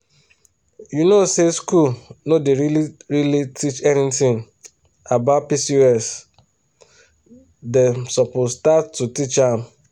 you know say school no dey really really teach anything about pcosdem suppose start to teach am.